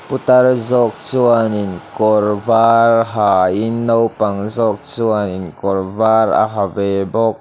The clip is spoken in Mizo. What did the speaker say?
putar zawk chuanin kawr var ha in naupang zawk chuanin kawr var a ha ve bawk.